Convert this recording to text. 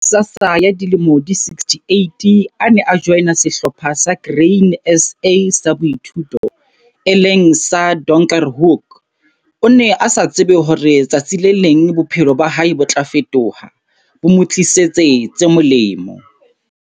Ha Ghsasa ya dilemo di 68 a ne a joina Sehlopha sa Grain SA sa Boithuto, e leng sa Donkerhoek, o ne a sa tsebe hore tsatsi le leng bophelo ba hae bo tla fetoha, bo mo tlisetse tse molemo.